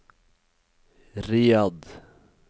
Riyadh